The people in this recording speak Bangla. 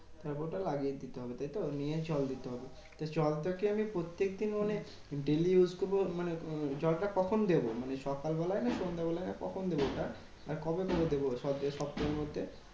তারপর ওটা লাগিয়ে দিতে হবে তাইতো? নিয়ে জল দিতে হবে। জলটাকে আমি প্রত্যেকদিন মানে daily use করবো মানে উম জলটা কখন দেব? মানে সকালবেলায় না সন্ধেবেলায় না কখন দেব ওটা? আর কবে কবে দেব স~ সপ্তার মধ্যে?